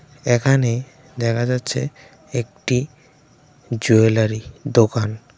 এখানে দেখা যাচ্ছে একটি জুয়েলারি দোকান.